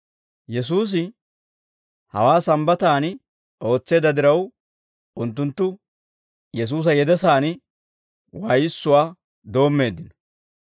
Yesuusi hawaa Sambbataan ootseedda diraw, unttunttu Yesuusa yedesaan waayissuwaa doommeeddino.